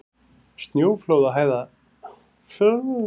Snjóflóðahætta í Fnjóskadal